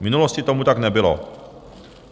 V minulosti tomu tak nebylo.